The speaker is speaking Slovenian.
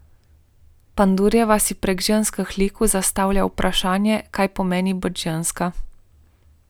Pandurjeva si prek ženskih likov zastavlja vprašanje, kaj pomeni biti ženska.